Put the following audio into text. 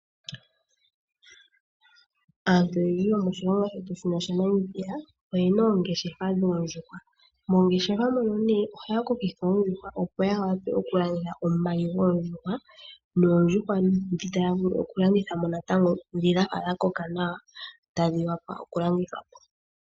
Aantu oyendji yomoshilongo shetu shino shaNamibia oyena oongeshefa dhoondjuhwa, moongeshefa mono nee ohaya kokitha oondjuhwa, opo ya wape oku landitha omayi goondjuhwa noondjuhwa ndhi taya vulu oku landitha mo natango ndhi dhafa dha koka nawa tadhi wapa oku landithwa po.